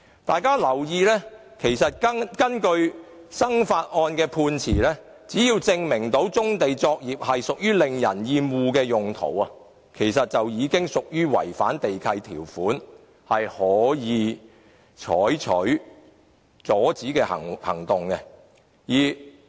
大家可以留意一下，根據"生發案"的判詞，只要能夠證明棕地作業屬於令人厭惡的用途，便已屬違反地契條款，可以採取阻止行動。